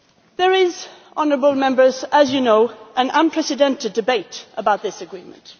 There is, honourable Members, as you know, an unprecedented debate about this agreement.